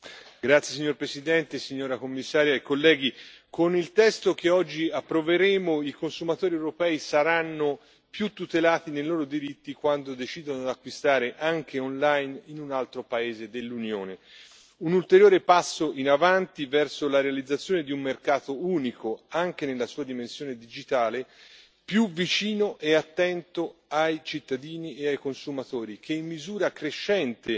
Signor Presidente, onorevoli colleghi, signora Commissario, con il testo che oggi approveremo i consumatori europei saranno più tutelati nei loro diritti quando decidono di acquistare, anche online, in un altro paese dell'Unione. Un ulteriore passo in avanti verso la realizzazione di un mercato unico, anche nella sua dimensione digitale, più vicino e attento ai cittadini e ai consumatori, che in misura crescente